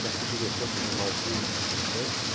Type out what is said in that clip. Já fui diretor do jornalzinho dos estudantes.